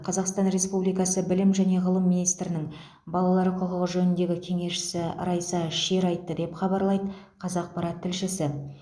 қазақстан республикасы білім және ғылым министрінің балалар құқығы жөніндегі кеңесшісі райса шер айтты деп хабарлайды қазақпарат тілшісі